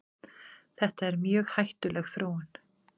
Þetta er mjög hættuleg þróun.